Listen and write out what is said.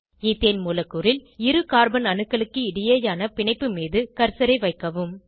ethane மூலக்கூறில் இரு carbon அணுக்களுக்கு இடையேயான பிணைப்பு மீது கர்சரை வைக்கவும்